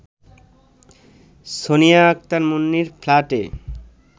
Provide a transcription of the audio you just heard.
সোনিয়া আক্তার মুন্নির ফ্ল্যাটে